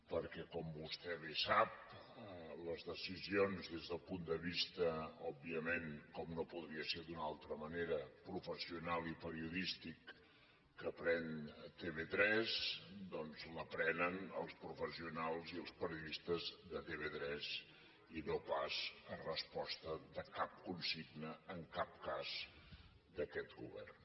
perquè com vostè bé sap les decisions des del punt de vista òbviament com no podria ser d’una altra manera professional i periodístic que pren tv3 doncs les prenen els professionals i els periodistes de tv3 i no pas a resposta de cap consigna en cap cas d’aquest govern